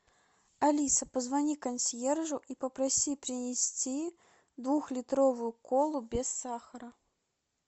алиса позвони консьержу и попроси принести двухлитровую колу без сахара